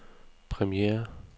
premiere